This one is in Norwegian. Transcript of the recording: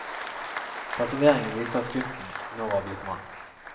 Tatoveringen viste at gutten nå var blitt mann.